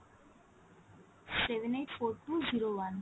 seven eight four two zero one